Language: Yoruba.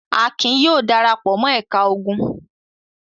Akin yóò dara pọ̀ mọ́ ẹ̀ka ogun.